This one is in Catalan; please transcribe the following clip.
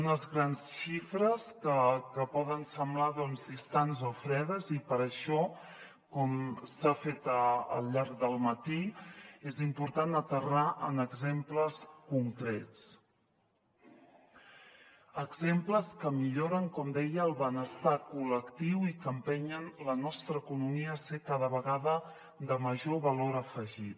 unes grans xifres que poden semblar doncs distants o fredes i per això com s’ha fet al llarg del matí és important aterrar en exemples concrets exemples que milloren com deia el benestar col·lectiu i que empenyen la nostra economia a ser cada vegada de major valor afegit